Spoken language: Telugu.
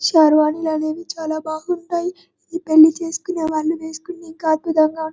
శర్వాని అనేది చాల బాగుంటాయి ఈ పెళ్లి చేసుకునేవాళ్ళు వేసుకుంటే ఇంకా అద్భుతంగా --